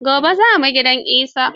Gobe za mu gidan Isa.